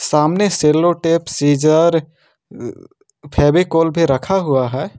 सामने sellotape scissor Fevicol भी रखा हुआ हैं।